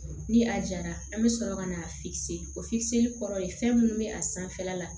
Ni a jara an bɛ sɔrɔ ka na o kɔrɔ ye fɛn minnu bɛ a sanfɛla la